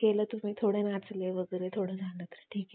कि आपल्याला entertainment मध्ये आता सगळ्या कडे mobile असल्यामुळे